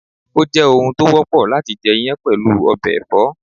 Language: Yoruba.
Ó jẹ́ oun tó wọ́pọ̀ láti jẹ iyán pẹ̀lú ọbẹ̀ ẹ̀fọ́